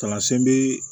Tamasɛn bi